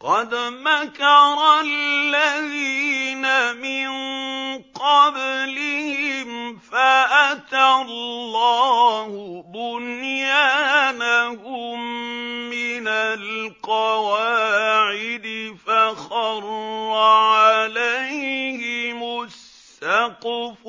قَدْ مَكَرَ الَّذِينَ مِن قَبْلِهِمْ فَأَتَى اللَّهُ بُنْيَانَهُم مِّنَ الْقَوَاعِدِ فَخَرَّ عَلَيْهِمُ السَّقْفُ